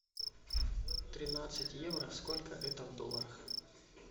тринадцать евро сколько это в долларах